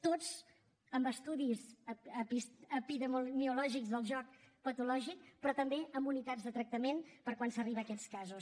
tots amb estudis epidemiològics del joc patològic però també amb unitats de tractament per quan s’arriba a aquests casos